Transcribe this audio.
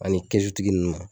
Ani kɛsutigi nunnu a